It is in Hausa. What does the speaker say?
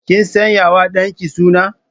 Ki sanyawa dan ki suna.